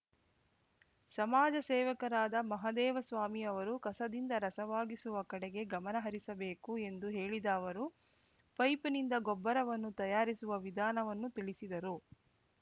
ಸಮಾಜ ಸೇವಕರಾದ ಮಹದೇವಸ್ವಾಮಿ ಅವರು ಕಸದಿಂದ ರಸವಾಗಿಸುವ ಕಡೆಗೆ ಗಮನಹರಿಸಬೇಕು ಎಂದು ಹೇಳಿದ ಅವರು ಪೈಪಿನಿಂದ ಗೊಬ್ಬರವನ್ನು ತಯಾರಿಸುವ ವಿಧಾನವನ್ನು ತಿಳಿಸಿದರು